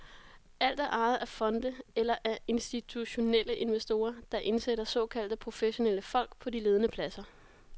Alt er ejet af fonde eller af institutionelle investorer, der indsætter såkaldte professionelle folk på de ledende pladser.